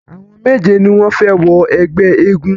Àwọn méje ni wọ́n fẹ wọ ẹgbẹ́ eégún.